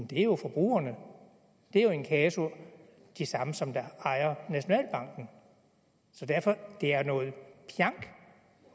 det er jo forbrugerne og det er jo in casu de samme som ejer nationalbanken så derfor det er noget pjank